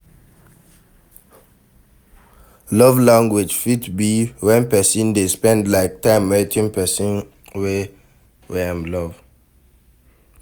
Love language fit be when persin de like spend time with persin wey Im love